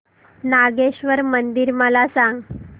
नागेश्वर मंदिर मला सांग